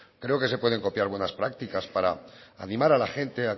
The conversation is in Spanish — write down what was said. creo que se pueden copiar buenas prácticas para animar a la gente